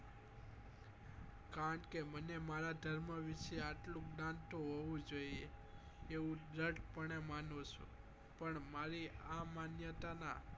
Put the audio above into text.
કારણ કે મને મારા ધર્મ વિશે આટલું જ્ઞાન તો હોવું જોઈએ એવું દ્રઢ પણે માનવ છું પણ મારી આ માન્યતા નાં